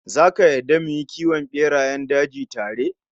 Zaka yarda mu yi kiwon berayen daji tare?